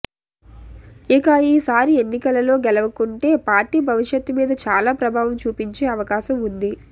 ఇక ఈ సారి ఎన్నికలలో గెలవకుంటే పార్టీ భవిష్యత్తు మీద చాలా ప్రభావం చూపించే అవకాశం ఉంది